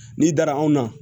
N'i dara anw na